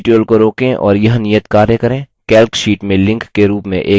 इस tutorial को रोकें और यह नियतकार्य करें